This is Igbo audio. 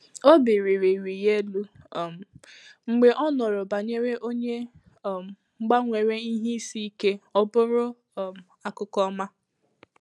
Obi rị rị rị ya élú um mgbe ọ nụrụ banyere onye um gbanwere ìhè ísì íké ọ bụrụ um akụkọ ọma